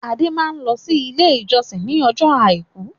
Adé máa lọ sí ilé-ìjọsìn ní ọjọ́ àìkú.